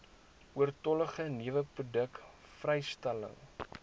oortollige neweproduk vrystelling